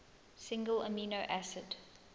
single amino acid